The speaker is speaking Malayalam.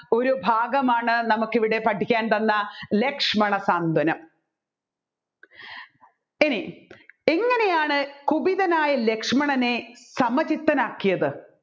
ഒരു ഭാഗമാണ് നമ്മുക്ക് ഇവിടെ പഠിക്കാൻ തന്ന ലക്ഷ്മണ സ്വാന്തനം ഇനി എങ്ങനെയാണ്‌ കുപിതനായ ലക്ഷ്മണനെ സമചിത്തനാക്കിയത്